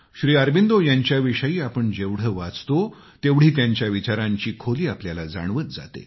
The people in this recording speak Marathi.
श्री अरबिंदो यांच्याविषयी आपण वाचतो तेवढी त्यांच्या विचारांची खोली आपल्याला जाणवत जाते